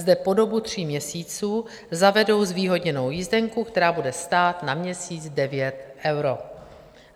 Zde po dobu tří měsíců zavedou zvýhodněnou jízdenku, která bude stát na měsíc 9 eur.